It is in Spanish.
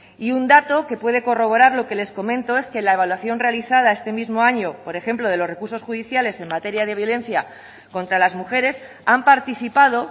y un dato que puede corroborar lo que les comento es que la evaluación realizada este mismo año por ejemplo de los recursos judiciales en materia de violencia contra las mujeres han participado